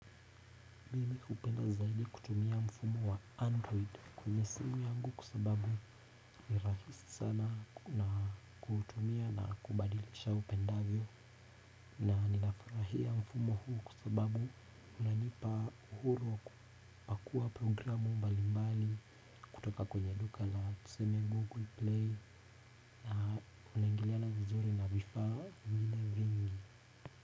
Mimi hupenda zaidi kutumia mfumo wa android kwenye simu yangu kwa sababu ni rahisi sana na kutumia na kubadilisha upendavyo na ninafurahia mfumo huu kwa sababu unanipa uhuru wa kupakua programu mbali mbali kutoka kwenye duka na tuseme google play na unaingiliana vizuri na vifaa vile vingi.